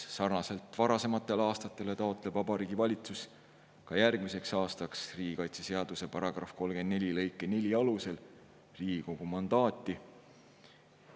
Sarnaselt varasematele aastatele taotleb Vabariigi Valitsus ka järgmiseks aastaks riigikaitseseaduse § 34 lõike 4 alusel Riigikogu mandaati.